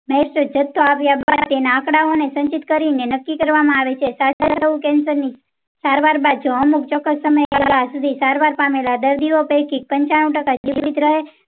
માં જતો આવ્યા તેના આંકડાઓ ને સંચિત કરી ને નક્કી કરવામાં આવે છે. cancer ની સારવાર બાદ જો અમુક ચોક્કસ સમય સારવાર પામેલાં દર્દીઓ પૈકી પંચાણું ટકા જીવિત રહે છે